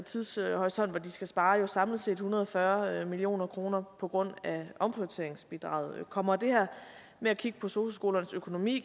tidshorisont skal spare samlet set en hundrede og fyrre million kroner på grund af omprioriteringsbidraget kommer det her med at kigge på sosu skolernes økonomi